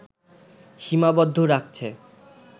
সীমাবদ্ধ রাখছে